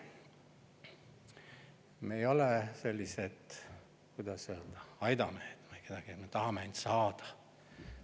Me ei ole sellised, kuidas öelda, aidamehed, kes räägivad: "Me tahame ainult saada.